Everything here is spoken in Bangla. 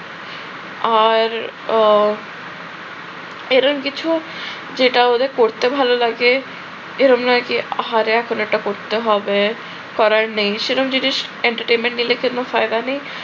আর উহ এরকম কিছু যেটা ওদের পড়তে ভালো লাগে এরকম নয় কি আহারে এখন এটা করতে হবে, করার নেই সেরম জিনিস entertainment নিলে কোন ফায়দা নেই